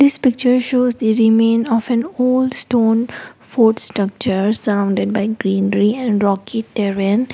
this picture shows the remain of an old stone fort structure surrounded by greenery and rocky terrain.